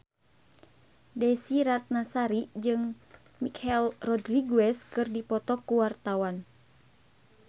Desy Ratnasari jeung Michelle Rodriguez keur dipoto ku wartawan